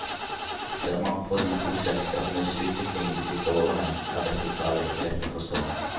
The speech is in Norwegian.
Ser man på de to selskapenes utvikling de siste årene, er dette kravet ikke lett å forstå.